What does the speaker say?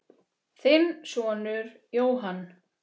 Þinn sonur, Jóhann.